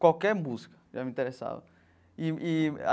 Qualquer música já me interessava e e.